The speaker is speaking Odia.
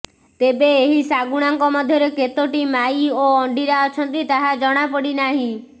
ତେବେ ଏହି ଶାଗୁଣାଙ୍କ ମଧ୍ୟରେ କେତୋଟି ମାଇ ଓ ଅଣ୍ଡିରା ଅଛନ୍ତି ତାହା ଜଣାପଡିନାହିଁ